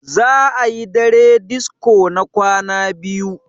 za a yi dare disko na kwana biyu